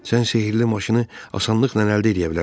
Sən sehrli maşını asanlıqla əldə eləyə bilərsən.